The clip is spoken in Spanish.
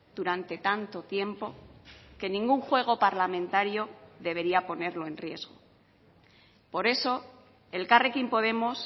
durante tanto tiempo que ningún juego parlamentario debería ponerlo en riesgo por eso elkarrekin podemos